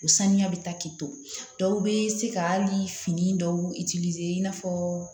U saniya bɛ taa k'i to dɔw bɛ se ka hali fini dɔw i n'a fɔ